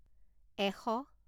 এশ